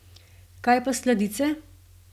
Kaj pa sladice?